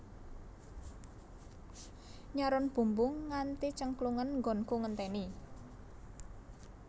Nyaron bumbung nganti cengklungen nggonku ngenteni